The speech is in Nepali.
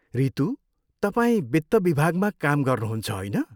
रितू, तपाईँ वित्त विभागमा काम गर्नुहुन्छ, होइन?